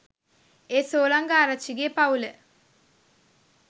ඒ සෝලංග ආරච්චිගේ පවුල